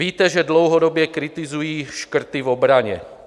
Víte, že dlouhodobě kritizuji škrty v obraně.